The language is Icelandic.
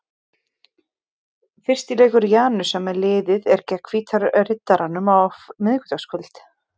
Fyrsti leikur Janusar með liðið er gegn Hvíta Riddaranum á miðvikudagskvöld.